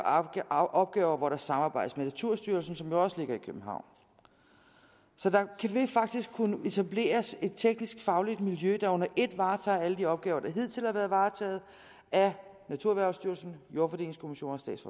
opgaver hvor der samarbejdes med naturstyrelsen som jo også ligger i københavn så der vil faktisk kunne etableres et teknisk fagligt miljø der under et varetager alle de opgaver der hidtil har været varetaget af naturerhvervsstyrelsen jordfordelingskommisionerne